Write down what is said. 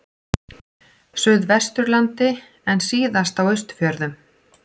Suðvesturlandi en síðast á Austfjörðum.